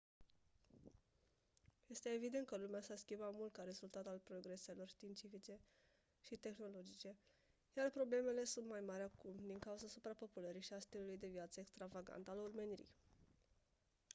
este evident că lumea s-a schimbat mult ca rezultat al progreselor științifice și tehnologice iar problemele sunt mai mari acum din cauza suprapopulării și a stilului de viață extravagant al omenirii